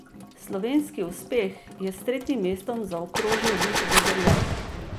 Slovenski uspeh je s tretjim mestom zaokrožil Vid Debeljak.